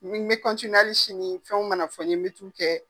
n mi ali sini fɛnw mana fɔ n ye , n bɛ t'u kɛ.